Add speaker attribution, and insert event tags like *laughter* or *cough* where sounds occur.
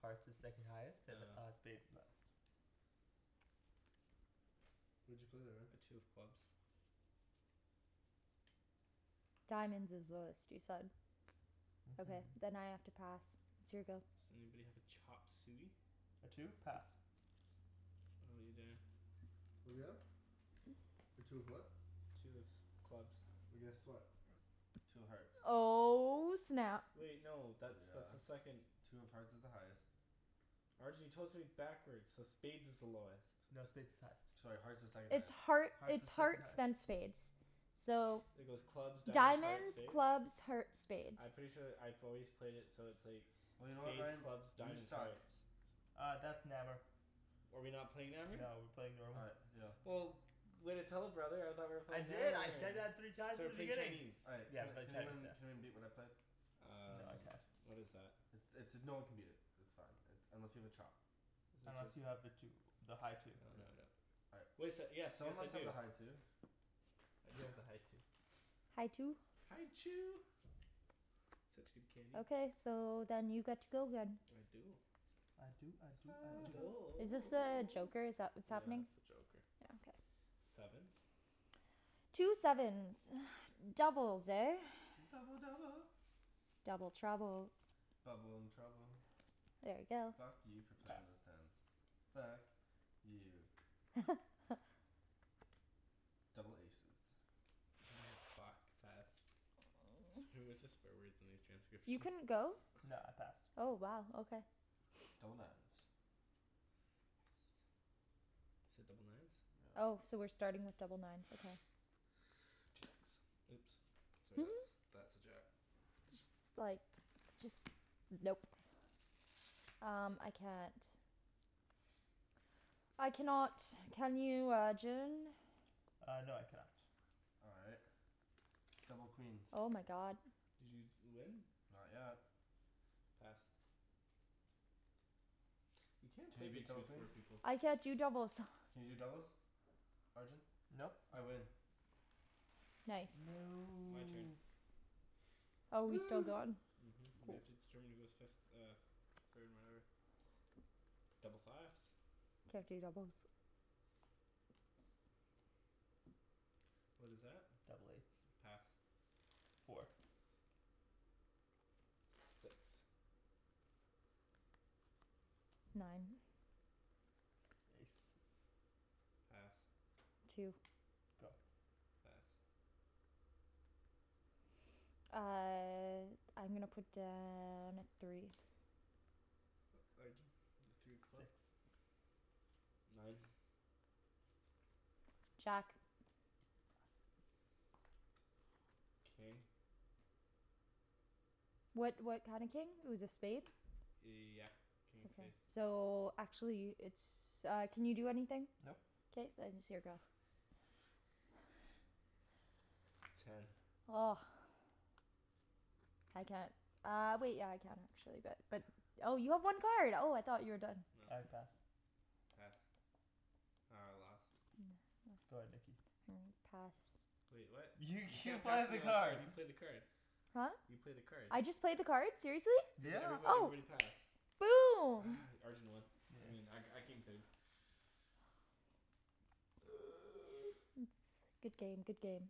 Speaker 1: Hearts is second highest, and uh
Speaker 2: Oh.
Speaker 1: spades is highest.
Speaker 3: What'd you play there, Ryan?
Speaker 2: A two of clubs.
Speaker 4: Diamonds is lowest, you said. Okay,
Speaker 1: Mhm.
Speaker 4: then I have to pass. It's your go.
Speaker 2: Does anybody have a chop suey?
Speaker 1: A two? Pass.
Speaker 2: How 'bout you, Daniel?
Speaker 3: What are we at? A two of what?
Speaker 2: Two of s- clubs.
Speaker 3: Well, guess what? Two of hearts.
Speaker 4: Oh snap.
Speaker 2: Wait no, that's that's a
Speaker 3: Yeah.
Speaker 2: second
Speaker 3: Two of hearts is the highest.
Speaker 2: Arjan you told it to me backwards, so spades is the lowest.
Speaker 1: No, spades is highest.
Speaker 3: Sorry, hearts is second
Speaker 4: It's
Speaker 3: highest.
Speaker 4: heart,
Speaker 1: Hearts
Speaker 4: it's
Speaker 1: is second
Speaker 4: hearts
Speaker 1: highest.
Speaker 4: then spades. So
Speaker 2: It goes clubs, diamonds, hearts,
Speaker 4: Diamonds,
Speaker 2: spades?
Speaker 4: clubs, hearts, spades.
Speaker 2: I'm pretty sure that I've always played it so it's like
Speaker 3: Well, you know what
Speaker 2: spades,
Speaker 3: Ryan?
Speaker 2: clubs,
Speaker 3: You
Speaker 2: diamonds,
Speaker 3: suck.
Speaker 2: hearts.
Speaker 1: Uh, that's Nammer.
Speaker 2: Oh are we not playing Nammer?
Speaker 1: No, we're playing
Speaker 3: Oh
Speaker 1: normal.
Speaker 3: right, yeah.
Speaker 2: Well way to tell a brother, I thought we were
Speaker 1: I
Speaker 2: playing
Speaker 1: did,
Speaker 2: Nammer
Speaker 1: I
Speaker 2: here.
Speaker 1: said that three times
Speaker 2: So
Speaker 1: in
Speaker 2: we're
Speaker 1: the
Speaker 2: playing
Speaker 1: beginning.
Speaker 2: Chinese.
Speaker 3: All right
Speaker 1: Yeah.
Speaker 3: can
Speaker 1: We're playing
Speaker 3: can
Speaker 1: Chinese, yeah.
Speaker 3: anyone can anyone beat what I played?
Speaker 1: No
Speaker 2: Um
Speaker 1: I can't.
Speaker 2: What is that?
Speaker 3: I- it's, no one can beat it. It's fine, it, unless you have a chop.
Speaker 1: Unless you have the two. The high two.
Speaker 2: Oh no I don't.
Speaker 3: All right.
Speaker 2: Wait so, yes
Speaker 3: Someone
Speaker 2: yes I
Speaker 3: must have a
Speaker 2: do.
Speaker 3: high two.
Speaker 2: I do have the high two.
Speaker 4: High two?
Speaker 2: High Chew. Such good candy.
Speaker 4: Okay, so then you get to go again.
Speaker 2: I do.
Speaker 1: I do I do I
Speaker 2: I
Speaker 1: do.
Speaker 2: do.
Speaker 4: Is this a joker, is that what's
Speaker 2: Yeah,
Speaker 4: happening?
Speaker 2: that's a joker.
Speaker 4: Yeah, okay.
Speaker 2: Sevens?
Speaker 4: Two sevens. *noise* Doubles, eh?
Speaker 3: Double double.
Speaker 4: Double trouble.
Speaker 3: Bubble and trouble.
Speaker 4: There we go.
Speaker 3: Fuck you for
Speaker 1: Pass.
Speaker 3: playing those tens. Fuck. You.
Speaker 4: *laughs*
Speaker 3: Double aces. *noise*
Speaker 2: Fuck, pass. It's gonna be a bunch of swear words in these
Speaker 4: You
Speaker 2: transcriptions.
Speaker 4: couldn't go?
Speaker 1: No, I passed.
Speaker 4: Oh wow, okay.
Speaker 3: Double nines. Yes.
Speaker 2: You said double nines?
Speaker 3: Yep. *noise*
Speaker 4: Oh, so we're starting with double nines, okay.
Speaker 2: *noise* Jacks. Oops. Sorry that's,
Speaker 4: *laughs*
Speaker 2: that's a jack.
Speaker 4: Just like Just, nope. Um, I can't. I cannot. Can you Arjan?
Speaker 1: Uh no, I can not.
Speaker 3: All right. Double queens.
Speaker 4: Oh my god.
Speaker 2: Did you d- win?
Speaker 3: Not yet.
Speaker 2: Pass. You can't
Speaker 3: Can
Speaker 2: play
Speaker 3: you beat
Speaker 2: Big Two
Speaker 3: double
Speaker 2: with four
Speaker 3: queens?
Speaker 2: people.
Speaker 4: I can't do doubles.
Speaker 3: Can you do doubles? Arjan?
Speaker 1: Nope.
Speaker 3: I win.
Speaker 4: Nice.
Speaker 2: My turn.
Speaker 1: No.
Speaker 4: Oh, we're still
Speaker 3: Woo!
Speaker 4: going?
Speaker 2: Mhm. We have to determine who goes fifth, uh f- third and whatever. Double fives.
Speaker 4: Can't do doubles.
Speaker 2: What is that?
Speaker 1: Double eights.
Speaker 2: Pass.
Speaker 1: Four.
Speaker 2: Six.
Speaker 4: Nine.
Speaker 1: Ace.
Speaker 2: Pass.
Speaker 4: Two.
Speaker 1: Go.
Speaker 2: Pass.
Speaker 4: Uh I'm gonna put down a three.
Speaker 2: Arjan? Three of clubs?
Speaker 1: Six.
Speaker 2: Nine.
Speaker 4: Jack.
Speaker 1: Pass.
Speaker 2: King.
Speaker 4: What what kind of king? It was a spade?
Speaker 2: Yeah. King of spade.
Speaker 4: So, actually it's uh, can you do anything?
Speaker 1: Nope.
Speaker 4: K then, it's your go.
Speaker 2: *noise* Ten.
Speaker 4: *noise* I can't. Uh wait, yeah I can actually, but, but Oh you have one card. Oh I thought you were done.
Speaker 2: No.
Speaker 1: I pass.
Speaker 2: Pass. Oh, I lost.
Speaker 1: Go ahead Nikki.
Speaker 4: Hmm, pass.
Speaker 2: Wait, what?
Speaker 1: You
Speaker 2: You
Speaker 1: you
Speaker 2: can't pass
Speaker 1: played the
Speaker 2: me a new
Speaker 1: card.
Speaker 2: card, you played the card.
Speaker 4: Huh?
Speaker 2: You played the card.
Speaker 4: I just played the card? Seriously?
Speaker 2: Cuz
Speaker 1: Yeah.
Speaker 2: everybo-
Speaker 4: Oh.
Speaker 2: everybody passed.
Speaker 4: Boom!
Speaker 2: *noise* Arjan won.
Speaker 1: Yeah.
Speaker 2: I mean I, I came third. *noise* *noise*
Speaker 4: *noise* Good game, good game.